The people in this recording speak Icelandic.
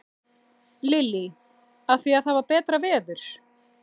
Lillý: Af því að það var betra veður?